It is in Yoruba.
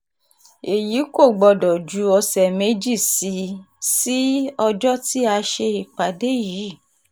èyí kò gbọ́dọ̀ ju ọ̀sẹ̀ méjì sí um ọjọ́ tí a ṣe ìpàdé um yìí